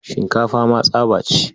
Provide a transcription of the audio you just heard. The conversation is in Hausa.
Shinkafa ma tsaba ce.